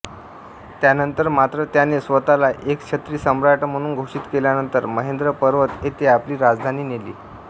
त्यानंतर मात्र त्याने स्वतःला एकछत्री सम्राट म्हणून घोषित केल्यानंतर महेंद्र पर्वत येथे आपली राजधानी नेली